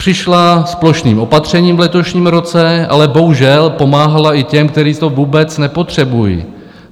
Přišla s plošným opatřením v letošním roce, ale bohužel pomáhala i těm, který to vůbec nepotřebují.